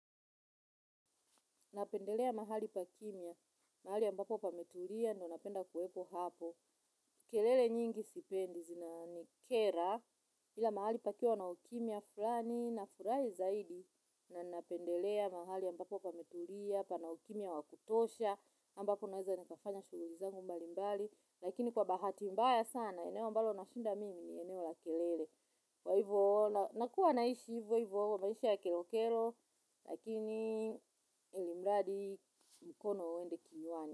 Napendelea mahali pa kimya, mahali ambapo pameturia ndo napenda kuwepo hapo. Kelele nyingi sipendi, zinanikera, ila mahali pakiwa na ukimya fulani nafurai zaidi. Na napendelea mahali ambapo pameturia, pana ukimya wa kutosha, ambapo naeza nikafanya shughuli zangu mbali mbali. Lakini kwa bahati mbaya sana, eneo ambalo nashinda mimi ni eneo la kelele. Kwa ivo nakuwa naishi ivo ivo maishi ya kero kero lakini ilimradi mkono uendi kinywani.